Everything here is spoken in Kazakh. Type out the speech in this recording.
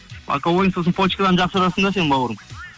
боковойың сосын почкадан жақсы ұрасың да сен бауырым